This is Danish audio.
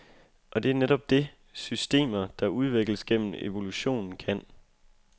Og det er netop det, systemer, der udvikles gennem evolution, kan.